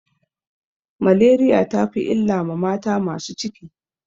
Maleriya ta fi illa ma mata masu ciki.